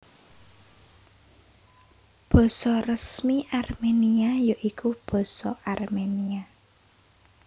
Basa Resmi Armenia ya iku Basa Armenia